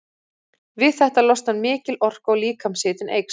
Við þetta losnar mikil orka og líkamshitinn eykst.